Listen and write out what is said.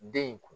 Den in kun